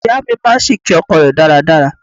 Ìyá mi máa ń ṣìké ọkọ rẹ̀ dáradára.